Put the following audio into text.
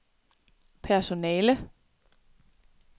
personale